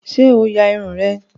Sé o ya Irun rẹ?